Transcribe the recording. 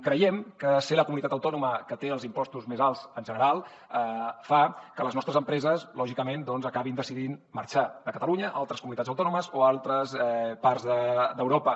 creiem que ser la comunitat autònoma que té els impostos més alts en general fa que les nostres empreses lògicament doncs acabin decidint marxar de catalunya a altres comunitats autònomes o a altres parts d’europa